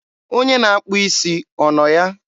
Onye na-akpụ isi ọ nọ ya?